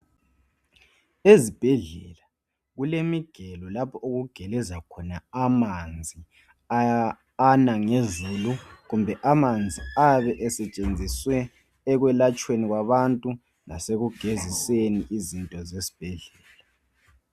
Ezibhedlela kulemigelo lapho okugeleza khona amanzi anangezolo, kumbe amanzi ayabe esetshenziswe ekwelatshweni kwabantu, lasekugeziseni izinto esibhedlela.